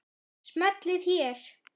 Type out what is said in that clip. Smellið hér.